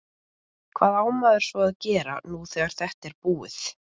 Hvað á maður svo að gera nú þegar þetta er búið?